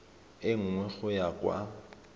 e nngwe go ya kwa